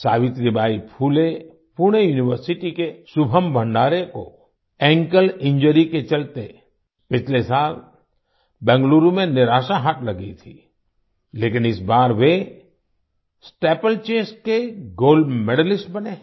Savitribai Phule Pune university के शुभम भंडारे को ankle injury के चलते पिछले साल बेंगलुरु में निराशा हाथ लगी थी लेकिन इस बार वे स्टीपलचेज के गोल्ड मेडलिस्ट बने हैं